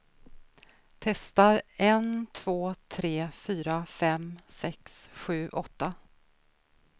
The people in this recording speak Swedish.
Testar en två tre fyra fem sex sju åtta.